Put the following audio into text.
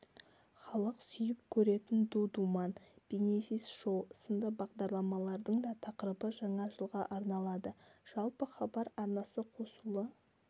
халық сүйіп көретін ду-думан бенефис-шоу сынды бағдарламалардың да тақырыбы жаңа жылға арналады жалпы хабар арнасы қосулы